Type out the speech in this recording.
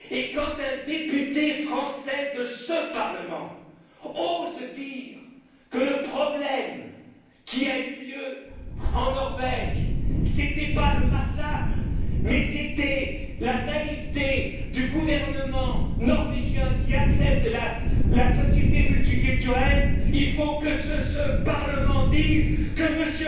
Quand un député français de ce Parlement ose dire que le problème qui a eu lieu en Norvège n'était pas le massacre, mais bien la naïveté du gouvernement norvégien, qui accepte la société multiculturelle, il faut que ce Parlement dise que